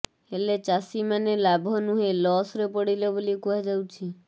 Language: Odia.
ହେଲେ ଚାଷୀମାନେ ଲାଭ ନୁହେଁ ଲସ୍ରେ ପଡ଼ିଲେ ବୋଲି କୁହାଯାଉଛି